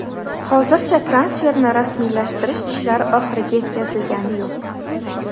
Hozircha transferni rasmiylashtirish ishlari oxiriga yetkazilgani yo‘q.